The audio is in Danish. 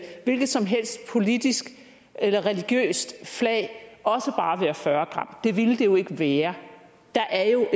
hvilket som helst politisk eller religiøst flag også bare være fyrre det ville det jo ikke være der er jo